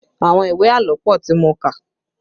Àwọn ìwé àlọ́ pọ tí mo kà